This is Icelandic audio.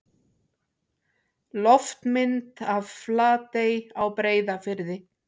Loftmynd af Flatey á Breiðafirði.